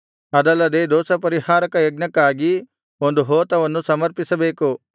ಅದಲ್ಲದೆ ದೋಷಪರಿಹಾರಕ ಯಜ್ಞಕ್ಕಾಗಿ ಒಂದು ಹೋತವನ್ನು ಸಮರ್ಪಿಸಬೇಕು